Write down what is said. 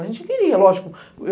A gente queria, lógico.